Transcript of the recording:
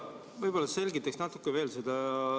Võib-olla sa selgitaksid seda natuke veel.